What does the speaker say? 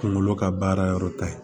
Kungolo ka baara yɔrɔ ta ye